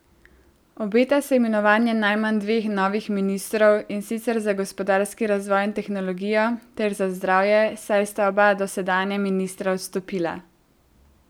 Obeta se imenovanje najmanj dveh novih ministrov, in sicer za gospodarski razvoj in tehnologijo ter za zdravje, saj sta oba dosedanja ministra odstopila.